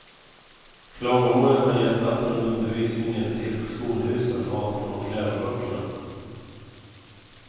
Klagomålen har gällt allt från undervisningen till skolhusen, maten och läroböckerna.